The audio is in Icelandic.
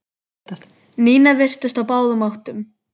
Nína virtist á báðum áttum.